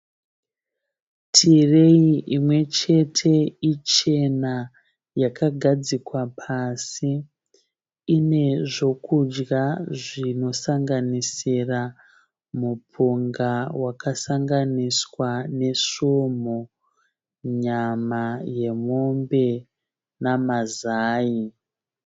Tireyi imwechete ichena yakagadzikwa pasi ine zvekudya zvinosanganisira mupunga wakasanganiswa nesumhu nyama yemombe namazai.